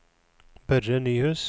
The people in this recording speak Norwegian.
Børre Nyhus